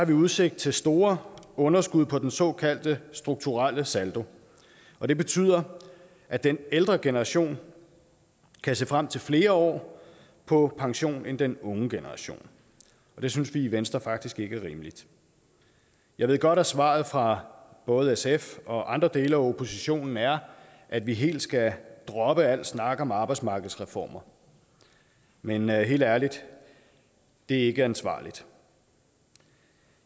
vi udsigt til store underskud på den såkaldte strukturelle saldo og det betyder at den ældre generation kan se frem til flere år på pension end den unge generation og det synes vi i venstre faktisk ikke er rimeligt jeg ved godt at svaret fra både sf og andre dele af oppositionen er at vi helt skal droppe al snak om arbejdsmarkedsreformer men men helt ærligt det er ikke ansvarligt